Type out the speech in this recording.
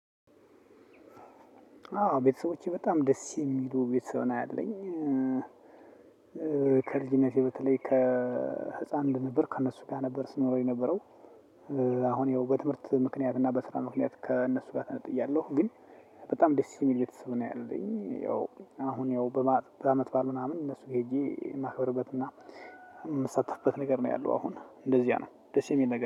አዎ ቤተሰቦቼ በጣም ደስ የሚሉ ቤተሰብ ነው ያለኝ። ከልጅነቴ በተለይ ከህፃን እንደነበር ከእነሱ ጋር ነበር ስኖር የነበረው። አሁን ያው በትምርት ምክኒያት እና በስራ ምክኒያት ከነሱ ጋር ተነጥያለው ግን። በጣም ደስ የሚል ቤተሰብ ነው ያለኝ። ያው አሁን ያው በአመት ባል ምናምን እነሱጋ ሄጄ የማክብርበት እና የምሳተፍበት ነገር ነው ያለው። አሁን እንደዚያ ነው ደስ የሚል ነገር